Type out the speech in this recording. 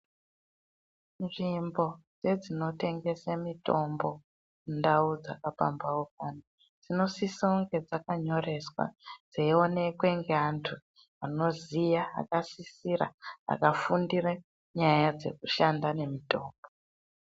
Nzvimbo yedzinotengese mitombo mundau dzakapamphaukana, dzinosisounge dzakanyoreswa, dzeionekwe, ngeantu anoziya, akasisira, akafundire nyaya dzekushanda nemitombo.